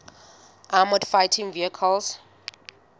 armoured fighting vehicles